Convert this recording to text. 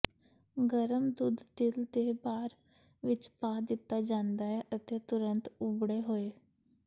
ਗਰਮ ਦੁੱਧ ਤਿਲ ਦੇ ਭਾਰ ਵਿੱਚ ਪਾ ਦਿੱਤਾ ਜਾਂਦਾ ਹੈ ਅਤੇ ਤੁਰੰਤ ਉਬੜੇ ਹੋਏ